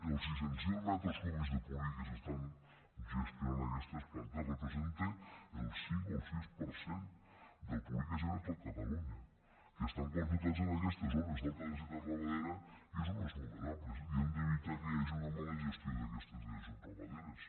els sis cents miler metres cúbics de purí que s’estan gestionant en aquestes plantes representa el cinc o el sis per cent del purí que es genera a tot catalunya que estan concentrats en aquestes zones d’alta densitat ramadera i a zones vulnerables i hem d’evitar que hi hagi una mala gestió d’aquestes dejeccions ramaderes